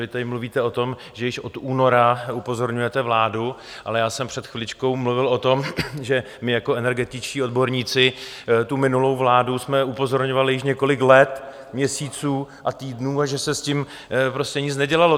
Vy tady mluvíte o tom, že již od února upozorňujete vládu, ale já jsem před chviličkou mluvil o tom, že my jako energetičtí odborníci tu minulou vládu jsme upozorňovali již několik let, měsíců a týdnů a že se s tím prostě nic nedělalo.